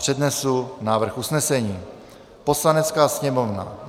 Přednesu návrh usnesení: Poslanecká sněmovna